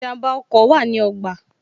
Ìjànbá ọkọ̀ wa ní ogba